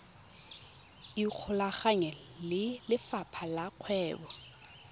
ikgolaganye le lefapha la kgwebo